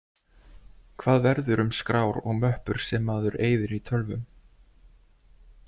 Hvað verður um skrár og möppur sem maður eyðir í tölvum?